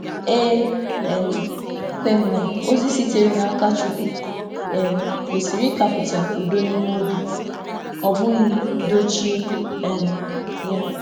E kwè m na ozi sitere n’aka Chukwu kwesị ịkàpụta udo n’ime obi, ọ bụghị dochie ya.